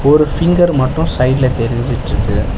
ஒரு ஃபிங்கர் மட்டு சைடுல தெரிஞ்சிட்ருக்கு.